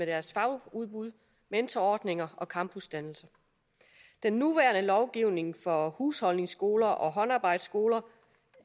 deres fagudbud mentorordninger og campusdannelse den nuværende lovgivning for husholdningsskoler og håndarbejdsskoler